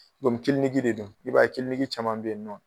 Kɔmi kiliniki de don i b'a ye kiliniki caman bɛ yen nɔ